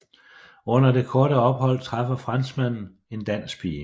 Under det korte ophold træffer franskmanden en dansk pige